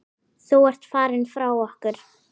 Þú ert farinn frá okkur.